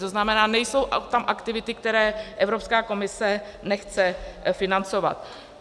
To znamená, nejsou tam aktivity, které Evropská komise nechce financovat.